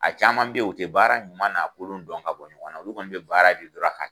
A caman bɛ ye o tɛ baara ɲuman n'a kolon dɔn ka bɔ ɲɔgɔn na olu kɔni bɛ baara di dɔrɔn a ka